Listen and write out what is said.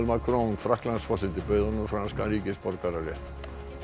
Macron Frakklandsforseti bauð honum franskan ríkisborgararétt